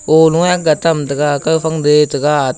olou ye agga tamtaga kauphang duhye taga at--